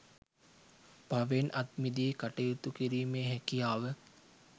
පවෙන් අත්මිදි කටයුතු කිරීමේ හැකියාව